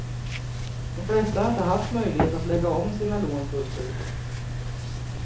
De flesta har inte haft möjlighet att lägga om sina lån fullt ut.